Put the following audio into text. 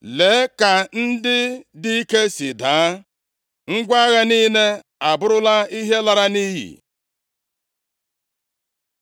“Lee ka ndị dị ike si daa! Ngwa agha niile abụrụla ihe lara nʼiyi!”